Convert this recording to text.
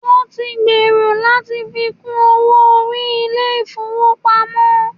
Wọn tí ń gbèrò láti fi kún owó orí àwọn ilé ìfọwọ́pamo.